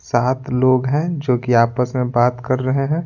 सात लोग हैं जो कि आपस में बात कर रहे हैं।